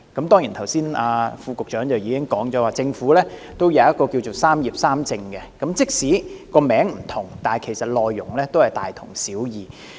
當然，局長剛才亦表示，政府也有一項"三業三政"的政策，即使名稱有別，但內容大同小異。